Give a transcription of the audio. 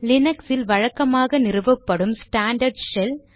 லினக்ஸில் வழக்கமாக நிறுவப்படும் ஸ்டாண்டர்ட் ஷெல்